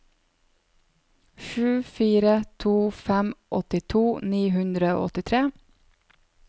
sju fire to fem åttito ni hundre og åttitre